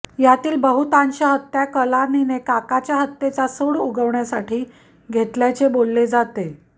यातील बहुतांश हत्या कलानीने काकाच्या हत्येचा सूड उगवण्यासाठी घेतल्याचे बोलले जाते